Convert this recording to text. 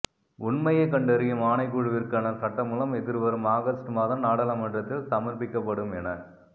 உண்மையை கண்டறியும் ஆணைக்குழுவிற்கான சட்டமூலம் எதிர்வரும் ஒக ஸ்ட் மாதம் நாடாளுமன்றத்தில் சமர்ப்பிக்கப்படும் என